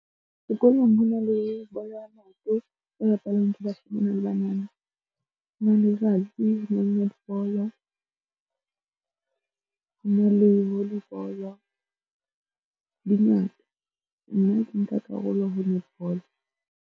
Sekolong ho na le bolo ya maoto e bapalwang ke bashemane le banana hona letsatsi. Ho na le rugby le netball, ho na le volleyball, di ngata. Nna ke nka karolo ho netball.